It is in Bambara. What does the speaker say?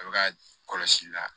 A bɛ ka kɔlɔsili la